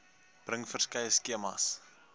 bring verskeie skemas